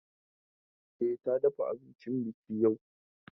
E, ta dafa abincin baƙi yau.